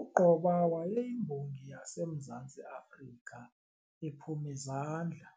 U-Gqoba wayeyiMbongi yaseMzantsi Afrika ephum'izandla,